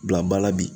Bila ba la bi